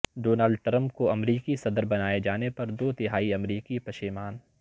Donald Trump کو امریکی صدر بنائے جانے پر دو تہائی امریکی پشیمان